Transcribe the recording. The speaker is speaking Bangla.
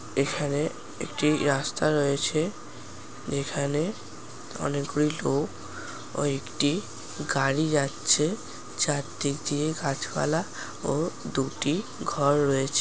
এখানে একটি রাস্তা রয়েছে যেখানে অনেকগুলি লোক ও একটি গাড়ি যাচ্ছে চারদিক দিয়ে গাছপালা ও দুটি ঘর রয়েছে।